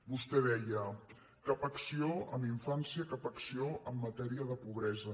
vostè deia cap acció en infància cap acció en ma·tèria de pobresa